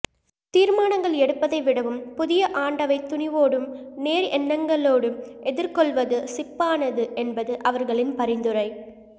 தீர்மானங்கள் எடுப்பதை விடவும் புதிய ஆண்டவை துணிவோடும் நேர் எண்ணங்களோடும் எதிர்கொள்வது சிப்பானது என்பது அவர்களின் பரிந்துரை